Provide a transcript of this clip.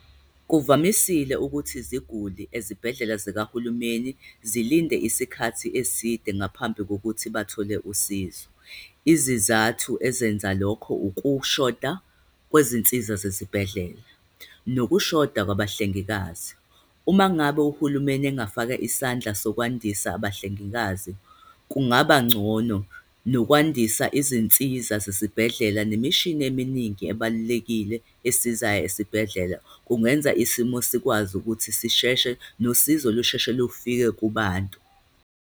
Kuvamisile ukuthi iziguli ezibhedlela zikahulumeni zilinde isikhathi eside ngaphambi kokuthi bathole usizo. Izizathu ezenza lokho, ukushoda kwezinsiza zezibhedlela nokushoda kwabahlengikazi. Uma ngabe uhulumeni engafaka isandla zokwandisa abahlengikazi, kungaba ngcono, nokwandisa izinsiza zesibhedlela nemishini eminingi ebalulekile esizayo esibhedlela, kungenza isimo sikwazi ukuthi sisheshe, nosizo lusheshe lufike kubantu.